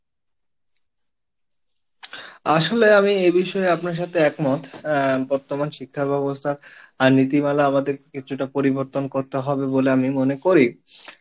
আসলে আমি এ বিষয়ে আপনার সাথে একমত আহ বর্তমান শিক্ষা ব্যাবস্থা আর নীতিমালা আমাদের কিছুটা পরিবর্তন করতে হবে বলে আমি মনে করি